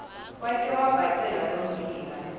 wate wabhaceka lommbila